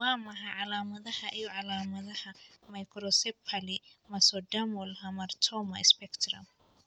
Waa maxay calaamadaha iyo calaamadaha Macrocephaly mesodermal hamartoma spectrum?